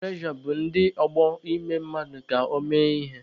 Piya prejọ bụ ndị ọgbọ mmadụ ime mmadụ ka ọ mee ihe.